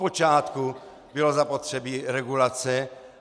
Odpočátku bylo zapotřebí regulace.